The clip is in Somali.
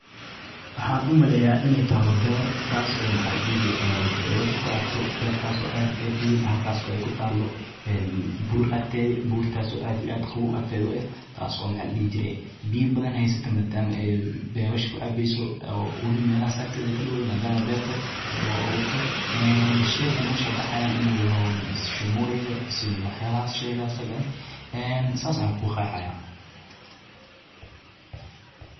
waxaan u maleeyaa inay taba beer taas oo maxalli jiray beesha ku cabto beertaas oo aada iyo aada u weyn halkaas oo ay ku taalo een buur agteedii buurtaasi aad iyo aada ugu adkeeyo taas oo maal dhihi jiray biyo badan haysato maadaama beesha ku aabeyso ee wabi melehas akteda ka dhawday maadaama beerta ee waa aburto een sheegana meesha ka baxayaan inuu si shumureede waxyaalahaas sheegaa isaga ee saas ayaan ku qeexaya.